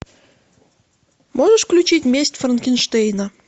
можешь включить месть франкенштейна